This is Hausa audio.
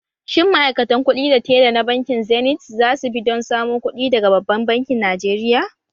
Shin ma’aikatan kuɗi da tella na bankin zenith za su bi don samo kuɗi daga babban bankin Najeriya?